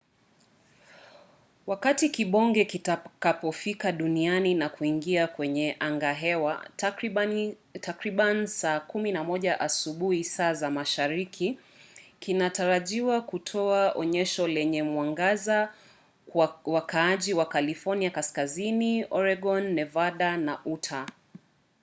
wakati kibonge kitakapofika duniani na kuingia kwenye angahewa takriban saa 11 asubuhi saa za mashariki kinatarajiwa kutoa onyesho lenye mwangaza kwa wakaaji wa california kaskazini oregon nevada na utah